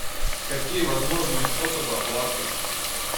какие возможные способы оплаты